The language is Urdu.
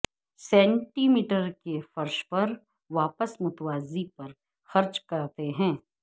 سینٹی میٹر کے فرش پر واپس متوازی پر خرچ کرتے ہیں